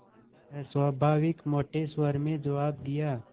अस्वाभाविक मोटे स्वर में जवाब दिया